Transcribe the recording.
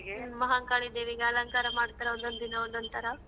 ಮಹಾಕಾಳಿದೇವಿಗೆ ಅಲಂಕಾರ ಮಾಡ್ತಾರೆ ಒಂದೊಂದಿನ ಒಂದೊಂದ್ ಥರ.